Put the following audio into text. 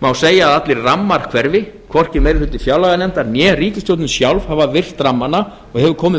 má segja að allir rammar hverfi hvorki meiri hluti fjárlaganefndar né ríkisstjórnin sjálf hafa virt rammana og hefur komið